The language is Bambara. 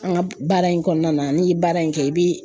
An ka baara in kɔnɔna na n'i ye baara in kɛ i bi